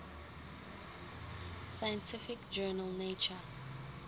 scientific journal nature